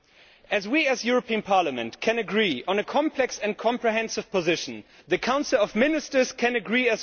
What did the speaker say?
If we, the European Parliament, can agree on a complex and comprehensive position, the Council of Ministers can also agree.